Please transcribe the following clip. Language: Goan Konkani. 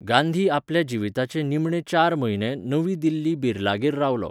गांधी आपल्या जिविताचे निमणे चार म्हयने नवी दिल्ली बिर्लागेर रावलो.